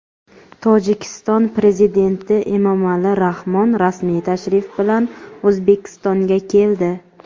Tojikiston prezidenti Emomali Rahmon rasmiy tashrif bilan O‘zbekistonga keldi.